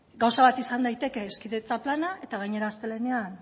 gauza bat izan daiteke hezkidetza plana eta gainera astelehenean